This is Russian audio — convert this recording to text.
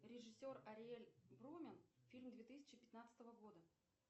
режиссер ариэль брумен фильм две тысячи пятнадцатого года